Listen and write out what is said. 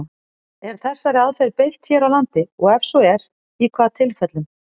Er þessari aðferð beitt hér á landi, og ef svo er, í hvaða tilfellum?